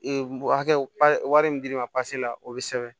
Ee hakɛ min dir'i ma la o bɛ sɛbɛn